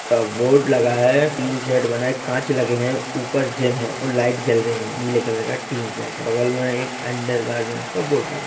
का बोर्ड लगा है टीन शेड बना है काँच लगे है ऊपर जिम है और लाइट जल रही है नीले कलर टीन शेड है बगल में एक अंडर गारमेंट्स का बोर्ड लग--